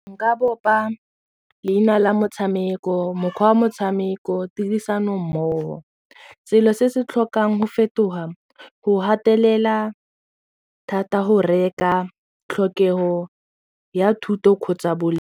Nka bopa leina la motshameko mokgwa wa motshameko tirisano mmogo selo se se tlhokang go fetoga go gatelela thata go reka tlhokego ya thuto kgotsa .